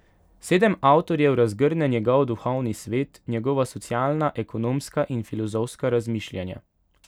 Sedem avtorjev razgrne njegov duhovni svet, njegova socialna, ekonomska in filozofska razmišljanja.